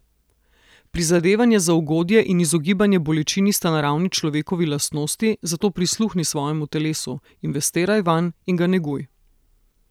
Prizadevanje za ugodje in izogibanje bolečini sta naravni človekovi lastnosti, zato prisluhni svojemu telesu, investiraj vanj in ga neguj.